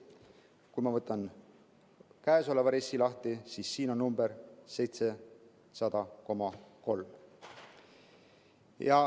Kui ma võtan käesoleva RES‑i lahti, siis siin on number 700,3.